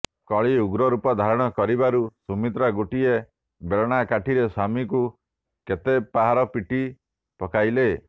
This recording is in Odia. କଳି ଉଗ୍ରରୂପ ଧାରଣ କରିବାରୁ ସୁମିତ୍ରା ଗୋଟାଏ ବେଲଣାକାଠିରେ ସ୍ୱାମୀଙ୍କୁ କେତେ ପାହାର ପିଟି ପକାଇଲେ